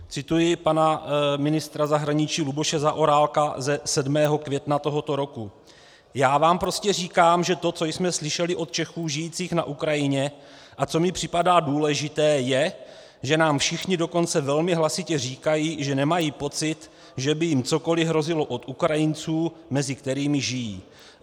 Cituji pana ministra zahraničí Luboše Zaorálka ze 7. května tohoto roku: "Já vám prostě říkám, že to, co jsme slyšeli od Čechů žijících na Ukrajině a co mi připadá důležité, je, že nám všichni dokonce velmi hlasitě říkají, že nemají pocit, že by jim cokoliv hrozilo od Ukrajinců, mezi kterými žijí.